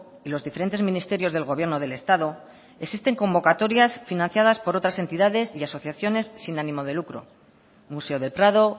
y los diferentes ministerios del gobierno del estado existen convocatorias financiadas por otras entidades y asociaciones sin ánimo de lucro museo del prado